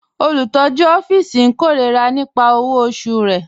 Olùtọ̀jú òfìísì n kẹ́rọ̀rà nípà owó ọ̀ṣù rẹ̀.